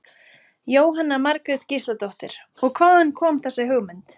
Jóhanna Margrét Gísladóttir: Og hvaðan kom þessi hugmynd?